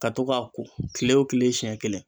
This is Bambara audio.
Ka to k'a ko kile o kile siɲɛ kelen